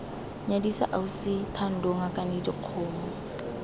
nyadisa ausi thando ngakane dikgomo